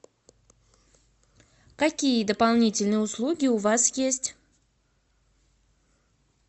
какие дополнительные услуги у вас есть